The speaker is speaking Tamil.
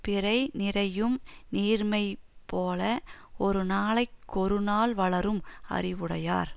பிறை நிறையும் நீர்மைபோல ஒருநாளைக் கொருநாள் வளரும் அறிவுடையார்